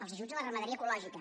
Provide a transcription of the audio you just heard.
els ajuts a la ramaderia ecològica